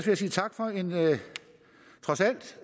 jeg sige tak for en trods alt